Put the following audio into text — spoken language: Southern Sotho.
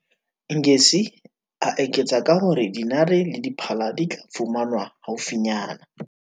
Ngesi, a eketsa ka ho re dinare le diphala di tla fumanwa haufinyane.